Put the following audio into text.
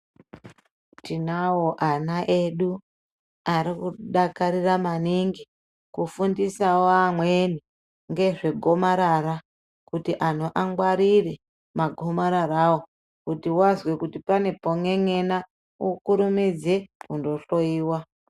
Tinawo ana edu arikudakarira maningi kufundisawo amweni ngezvegomarara kuti antu angwarire magomararawo kuti wazwe kuti pane pon'en'ena ukurumidze kundohloyiwa.